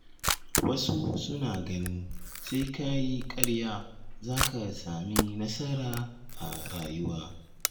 Wasu suna ganin sai ka yi ƙarya zaka sami nasara a rayuwa.